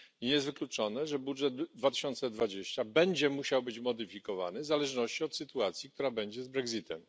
Nie jest wykluczone, że budżet na rok 2020 będzie musiał być modyfikowany w zależności od sytuacji, która będzie z brexitem.